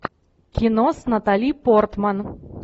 кино с натали портман